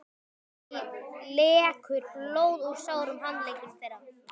Það lekur blóð úr sárum handleggjum þeirra.